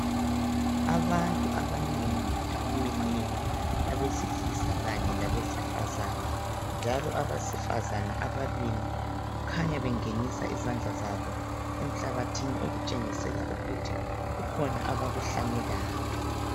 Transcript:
Abantu abanengi abamileyo abesilisa labesifazane, njalo abesifazane ababili khanya bengenisa izandla zabo emhlabathini okutshengisa ukuthi kukhona abakuhlanyelayo.